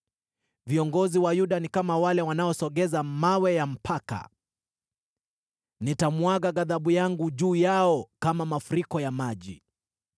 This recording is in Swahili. Viongozi wa Yuda ni kama wale wanaosogeza mawe ya mpaka. Nitamwaga ghadhabu yangu juu yao kama mafuriko ya maji.